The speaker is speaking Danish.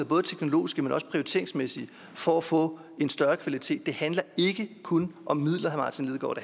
både teknologisk men også prioriteringsmæssigt for at få en større kvalitet det handler ikke kun om midler herre martin lidegaard